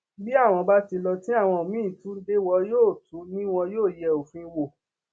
bí àwọn bá ti lọ tí àwọn míín tún dé wọn yóò tún ní wọn yóò yẹ òfin wò